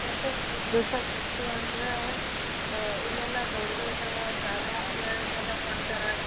ಎಲ್ಲಾ ನೋಡಾಕ ಒಂದು ಹಳೇ ನೆನಪುಗಳಲ್ಲ ನೋಡಾಕ ಒಂಥರಾ ತುಂಬಾ ಖುಷಿ ಆಗ್ತಾಯಿದೆ ಮೊದ್ಲಿಂದ ಎಲ್ಲಾ ಫೋಟೋ ಗಳು ನೋಡೋತಿಗೆ.